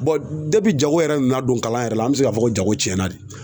jago yɛrɛ nana don kalan yɛrɛ la, an be se k'a fɔ ko jago cɛn na de.